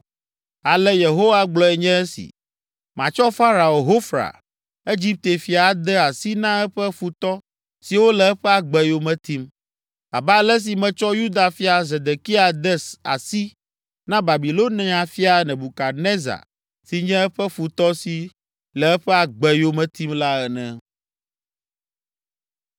Ale Yehowa gblɔe nye esi: ‘Matsɔ Farao Hofra, Egipte fia ade asi na eƒe futɔ siwo le eƒe agbe yome tim, abe ale si metsɔ Yuda fia Zedekia de asi na Babilonia fia Nebukadnezar si nye eƒe futɔ si le eƒe agbe yome tim la ene.’ ”